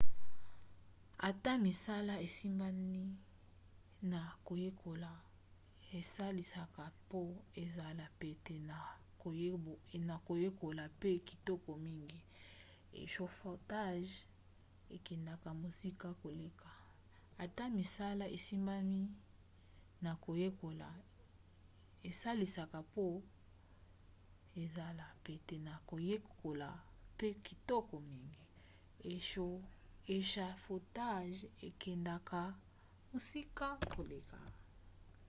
ata misala esimbami na koyekola esalisaka mpo ezala pete na koyekola mpe kitoko mingi échafaudage ekendaka mosika koleka